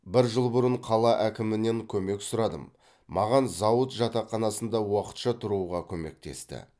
бір жыл бұрын қала әкімінен көмек сұрадым маған зауыт жатақханасында уақытша тұруға көмектесті